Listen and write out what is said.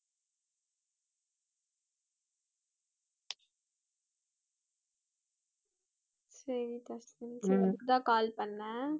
சரிப்பா அதுக்குதான் call பண்ணேன்